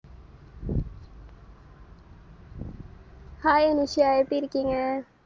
hi Nisha எப்டியிருக்கீங்க?